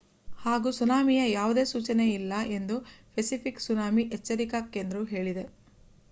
ಹಾಗೂ ಸುನಾಮಿಯ ಯಾವುದೇ ಸೂಚನೆಯಿಲ್ಲ ಎಂದು ಪೆಸಿಫಿಕ್ ಸುನಾಮಿ ಎಚ್ಚರಿಕಾ ಕೇಂದ್ರವು ಹೇಳಿದೆ